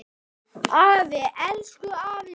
Afi, elsku afi minn.